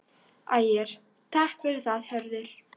Ægir: Takk fyrir það Hörður.